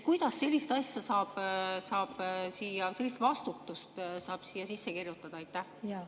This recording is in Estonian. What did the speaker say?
Kuidas saab siia sellist vastutust sisse kirjutada?